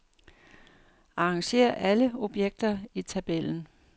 Arrangér alle objekter i tabellen.